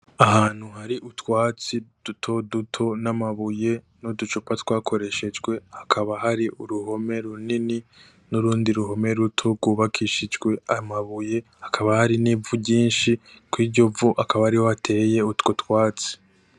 Ahantu hari utwatsi duto duto namabuye n'uducupa twakoreshejwe, hakaba hari uruhome runini n'urundi ruhome ruto rwubakishijwe aya mabuye, hakaba hari n'ivu ryinshi, kwiryo vu akaba ariho hateye utwo twatsi.